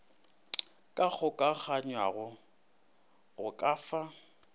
ka kgokaganywago go ka fa